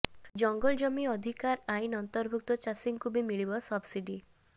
ଜଙ୍ଗଲଜମି ଅଧିକାର ଆଇନ୍ ଅନ୍ତର୍ଭୁକ୍ତ ଚାଷୀଙ୍କୁ ବି ମିଳିବ ସବ୍ସିଡି